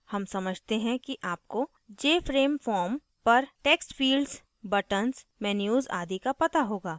हम समझते हैं कि आपको jframe form पर text fields buttons menus आदि का पता होगा